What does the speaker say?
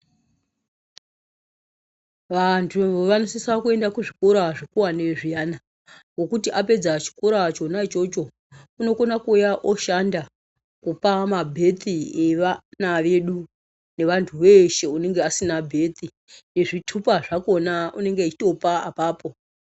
Vantu vanosisa kuenda kuzvikora zvikuwane zviyani nekuti apedza chikora chona ichocho unokona kuuya oshanda kuma mabhethi evana vedu nevantu veshe unenga asina bhethi nezvitupa zvakona unenge echitopa apapo.